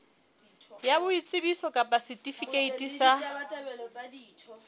ya boitsebiso kapa setifikeiti sa